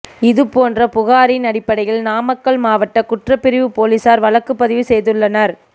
இது போன்ற புகாரின் அடிப்டையில் நாமக்கல் மாவட்ட குற்றபிரிவு போலீசார் வழக்கு பதிவு செய்துள்ளனர்